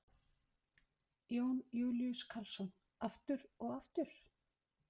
Jón Júlíus Karlsson: Aftur og aftur?